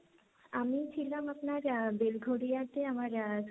আমি ছিলাম আপনার বেলঘরিয়াতে আমার,